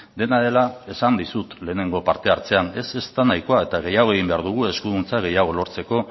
dena dela esan dizut lehengo partehartzean ez ez da nahikoa eta gehiago egin behar dugu eskuduntza gehiago lortzeko